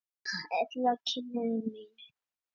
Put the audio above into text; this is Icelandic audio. Ella kynnti mig fyrir honum og hann bauð okkur í partí.